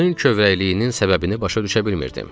Qızın kövrəkliyinin səbəbini başa düşə bilmirdim.